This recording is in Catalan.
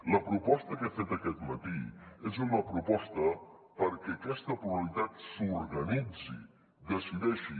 la proposta que he fet aquest matí és una proposta perquè aquesta pluralitat s’organitzi decideixi